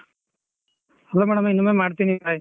Hello madam ಇನ್ನೊಮ್ಮೆ ಮಾಡ್ತೇನಿ bye .